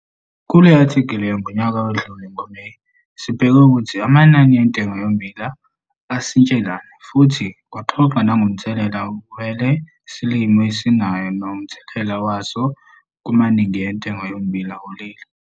Kule-athikhili yangonyaka odlule ngoMeyi, sibheke 'Ukuthi amanani entengo yommbila asitshelani' futhi kwaxoxwa nangomthelela wele silimo esiyinala nomthelela waso kumanani entengo yommbila kuleli.